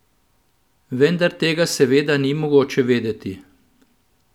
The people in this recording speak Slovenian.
Vendar tega seveda ni mogoče vedeti.